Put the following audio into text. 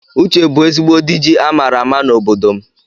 Uche bu ezigbo dịji amara àmà na ọbọdọ mụ